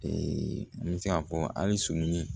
n bɛ se k'a fɔ hali surunin